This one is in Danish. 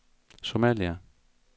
Somalia